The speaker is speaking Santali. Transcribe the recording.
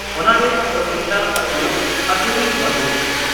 ᱚᱱᱟᱨᱮ ᱚᱥᱤᱱᱛᱟ ᱟᱥᱩᱨ (ᱟᱥᱩᱨᱤ), ᱢᱚᱫᱷᱩ